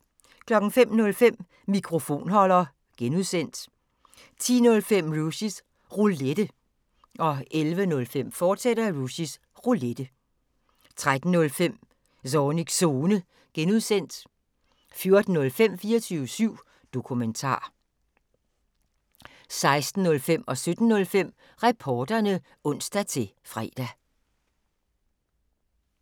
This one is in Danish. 05:05: Mikrofonholder (G) 10:05: Rushys Roulette 11:05: Rushys Roulette, fortsat 13:05: Zornigs Zone (G) 14:05: 24syv Dokumentar 16:05: Reporterne (ons-fre) 17:05: Reporterne (ons-fre)